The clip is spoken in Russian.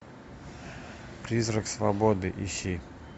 призрак свободы ищи